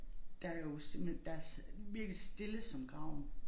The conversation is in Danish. Der jo simpelthen der virkelig stille som graven